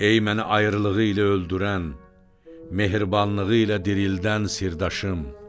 Ey məni ayrılığı ilə öldürən, mehribanlığı ilə dirildən sirdaşım!